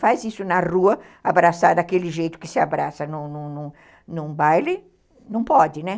Faz isso na rua, abraçar daquele jeito que se abraça num baile, não pode, né?